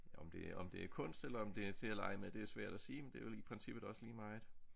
Om det om det er kunst eller om det er til at lege med det er svært at sige men det er vel i princippet også lige meget